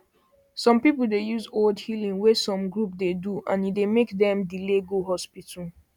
some people dey use old healing wey some group dey do and e dey make dem delay go hospital